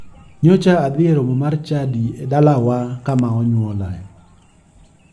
Nyocha adhi e romo mar chadi dalawa kama onyuola